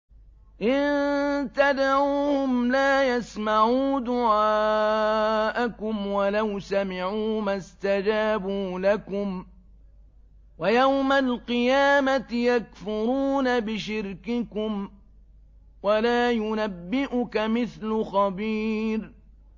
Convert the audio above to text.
إِن تَدْعُوهُمْ لَا يَسْمَعُوا دُعَاءَكُمْ وَلَوْ سَمِعُوا مَا اسْتَجَابُوا لَكُمْ ۖ وَيَوْمَ الْقِيَامَةِ يَكْفُرُونَ بِشِرْكِكُمْ ۚ وَلَا يُنَبِّئُكَ مِثْلُ خَبِيرٍ